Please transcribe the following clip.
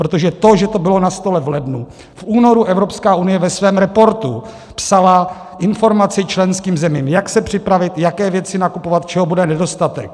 Protože to, že to bylo na stole v lednu - v únoru Evropská unie ve svém reportu psala informaci členským zemím jak se připravit, jaké věci nakupovat, čeho bude nedostatek.